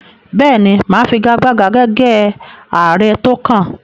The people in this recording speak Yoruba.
Bẹ́ẹ̀ ni, mà á figagbága gẹ́gẹ́ ààrẹ tó kàn